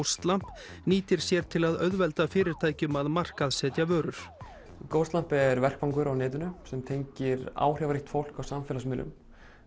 Ghostlamp nýtir sér til að auðvelda fyrirtækjum að markaðssetja vörur er vettvangur á netinu sem tengir áhrifaríkt fólk á samfélagsmiðlum